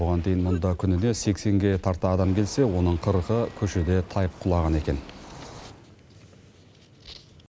бұған дейін мұнда күніне сексенге тарта адам келсе оның қырқы көшеде тайып құлаған екен